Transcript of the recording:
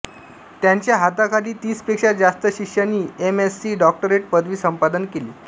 त्यांच्या हाताखाली तीसपेक्षा जास्त शिष्यांनी एम एस्सी डॉक्टरेट पदवी संपादन केली